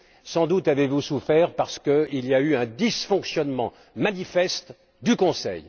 Sans doute avez vous souffert parce qu'il y a eu un dysfonctionnement manifeste du Conseil.